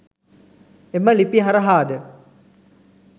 එම ලිපි හරහාද